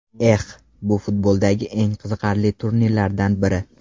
Eh.... Bu futboldagi eng qiziqarli turnirlardan biri.